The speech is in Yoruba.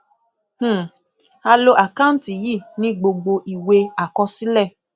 um a lo àkántì yìí ní gbogbo ìwé àkọsílẹ